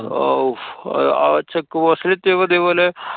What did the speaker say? ആവൂ ആ check post ല് എത്യപ്പോ ഇതേപോലെ